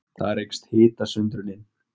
Þar eykst hitasundrunin.